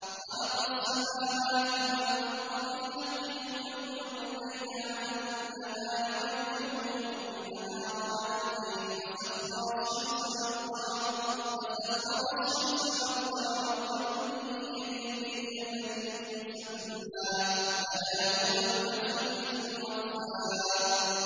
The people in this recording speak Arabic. خَلَقَ السَّمَاوَاتِ وَالْأَرْضَ بِالْحَقِّ ۖ يُكَوِّرُ اللَّيْلَ عَلَى النَّهَارِ وَيُكَوِّرُ النَّهَارَ عَلَى اللَّيْلِ ۖ وَسَخَّرَ الشَّمْسَ وَالْقَمَرَ ۖ كُلٌّ يَجْرِي لِأَجَلٍ مُّسَمًّى ۗ أَلَا هُوَ الْعَزِيزُ الْغَفَّارُ